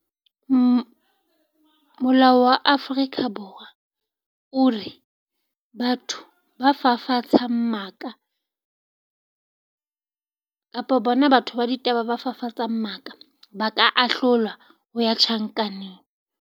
Molao wa Afrika Borwa o re batho ba fafatsang maka kapa bona batho ba ditaba ba fafatsang maka, ba ka ahlolwa ho ya tjhankaneng.